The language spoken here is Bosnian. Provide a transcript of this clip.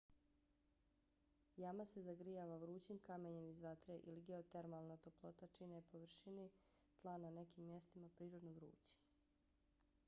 jama se zagrijava vrućim kamenjem iz vatre ili geotermalna toplota čini površine tla na nekim mjestima prirodno vrućim